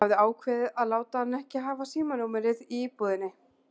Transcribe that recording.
Hún hafði ákveðið að láta hann ekki hafa símanúmerið í íbúðinni.